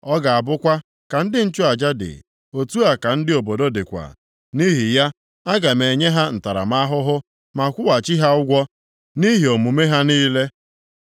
Ọ ga-abụkwa ka ndị nchụaja dị, otu a ka ndị obodo dịkwa. Nʼihi ya, aga m enye ha ntaramahụhụ ma kwụghachi ha ụgwọ nʼihi omume ha niile.